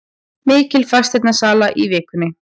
Mikil fasteignasala í vikunni